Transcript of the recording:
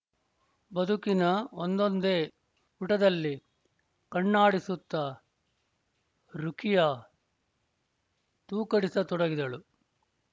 ಬದುಕಿನ ಒಂದೊಂದೇ ಪುಟದಲ್ಲಿ ಕಣ್ಣಾಡಿಸುತ್ತಾ ರುಖಿಯಾ ತೂಕಡಿಸತೊಡಗಿದಳು